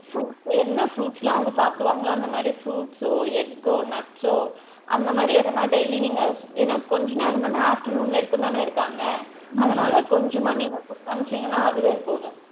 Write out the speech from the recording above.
Fruits சு என்ன fruits லா அவுங்க சாப்பிடுவான்களோ அந்த மாறி fruits சோ egg கோ nuts சோ அந்த மாறி எதுனா daily நீங்க ஏன்னா கொஞ்ச நேரம் தான afternoon வரைக்கும் தான இருக்காங்க அதனால கொஞ்சமா நீங்க குடுத்து அனுப்சிங்கனா அதுவே அவுங்களுக்கு போதும்.